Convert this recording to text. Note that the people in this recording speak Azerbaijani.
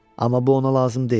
Amma bu ona lazım deyildi.